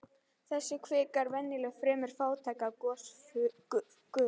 Þessi kvika er venjulega fremur fátæk af gosgufum.